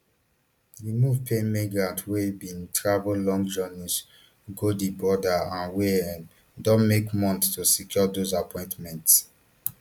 di move pain migrants wey bin travel long journeys go di border and wey um don wait months to secure those appointments